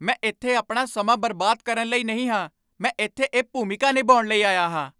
ਮੈਂ ਇੱਥੇ ਆਪਣਾ ਸਮਾਂ ਬਰਬਾਦ ਕਰਨ ਲਈ ਨਹੀਂ ਹਾਂ। ਮੈਂ ਇੱਥੇ ਇਹ ਭੂਮਿਕਾ ਨਿਭਾਉਣ ਲਈ ਆਇਆ ਹਾਂ।